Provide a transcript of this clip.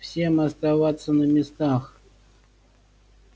всем оставаться на местах